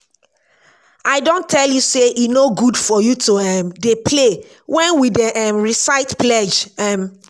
i don tell you say e no good for you to um dey play wen we dey um recite pledge um